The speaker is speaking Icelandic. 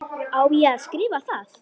Á ég að skrifa það?